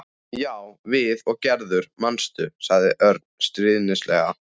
Já, við og Gerður, manstu? sagði Örn stríðnislega.